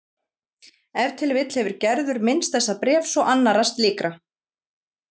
Ef til vill hefur Gerður minnst þessa bréfs og annarra slíkra